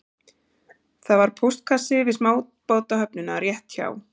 Það var póstkassi við smábátahöfnina rétt hjá